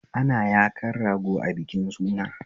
Ana yakan rago a bikin suna